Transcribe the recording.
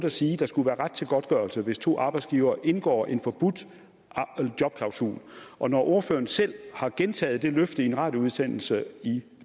at sige at der skal være ret til godtgørelse hvis to arbejdsgivere indgår en forbudt jobklausul og når ordføreren selv har gentaget det løfte i en radioudsendelse i